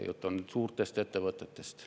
Jutt on suurtest ettevõtetest.